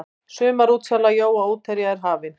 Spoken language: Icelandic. Sumarútsala jóa útherja er hafin.